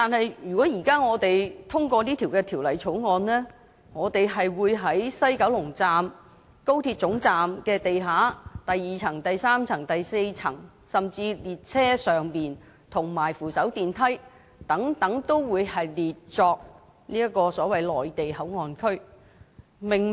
但是，如果現時我們通過《條例草案》，我們會把西九龍高鐵總站地下的第二層、第三層、第四層，甚至是列車上及扶手電梯等範圍均列為內地口岸區。